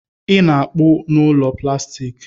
Ị na-apụ n'ụlọ plastik?